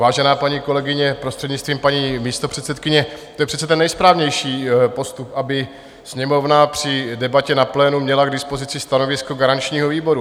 Vážená paní kolegyně prostřednictvím paní místopředsedkyně, to je přece ten nejsprávnější postup, aby Sněmovna při debatě na plénu měla k dispozici stanovisko garančního výboru.